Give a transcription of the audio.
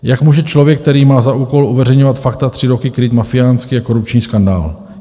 Jak může člověk, který má za úkol uveřejňovat fakta, tři roky krýt mafiánský a korupční skandál?